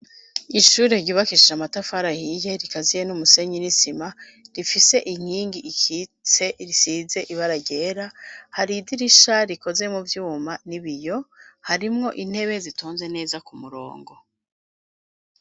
Ishure ryubakishije amatafari hiye rikaziye n'umusenyi n'isima rifise inkingi ikitse risize ibara ryera hari idirisha rikoze mu vyuma n'ibiyo harimwo intebe zitonze neza ku murongo.